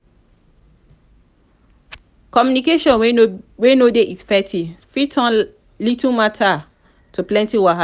communication wey no de effective fit turn little matter to plenty wahala